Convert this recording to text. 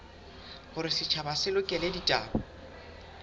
hore setjhaba se lekole ditaba